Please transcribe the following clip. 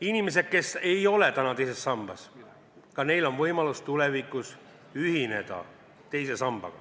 Inimesed, kes ei ole veel teise sambaga liitunud, saavad võimalus tulevikus seda teha.